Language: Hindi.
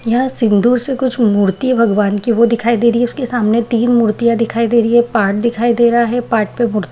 यह सिन्दूर से कुछ मूर्ति है भगवान की वो दिखाई दे रही है उसके सामने तीन मूर्तियां दिखाई दे रही है पाट दिखाई दे रहा है पाट पे मूर्तियां --